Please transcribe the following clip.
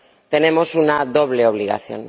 tenemos una doble obligación.